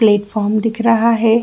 Platform दिख रहा है।